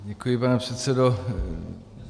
Děkuji, pane předsedo.